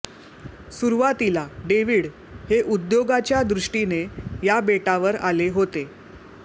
सुरूवातीला डेव्हिड हे उद्योगाच्या दृष्टीने या बेटावर आले होते